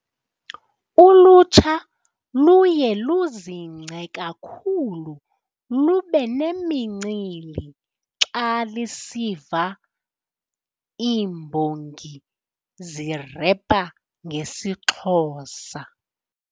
Ulutsha luye luzingce kakhulu lube nemincili xa lisiva iimbongi zirepa ngesiXhosa.